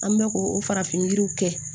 An bɛ ko o farafin yiriw kɛ